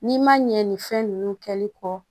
N'i ma ɲɛ ni fɛn nunnu kɛli kɔ